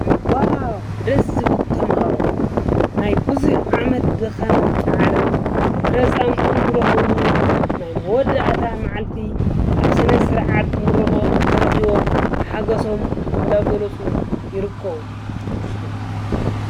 ዋው ደስ ዝብሉ ተማሃሮ፡፡ ናይ ቡዙሕ ዓመት ድካምን ፃዕርን ፍረ ፃምኦም ዝረክብሉ ናይ መወዳእታ ማዓልቲ ኣብ ስነስርዓት ምርቆኦም ተረኪቦም ሓጎሶም እንዳገለፁ ይርከቡ፡፡